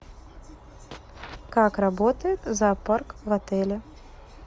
как работает зоопарк в отеле